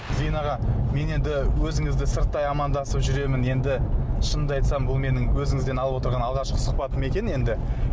зейін аға мен енді өзіңізді сырттай амандасып жүремін енді шынымды айтсам бұл менің өзіңізден алып отырған алғашқы сұхбатым екен енді